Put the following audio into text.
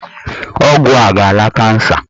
Ọgwụ a ga-ala kansa.